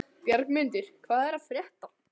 Bjargmundur, hvað er að frétta?